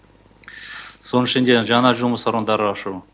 соның ішінде жаңа жұмыс орындары ашу